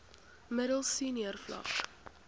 middel senior vlak